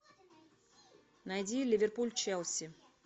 найди ливерпуль челси